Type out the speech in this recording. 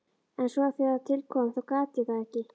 En svo þegar til kom þá gat ég það ekki.